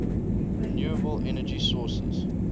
renewable energy sources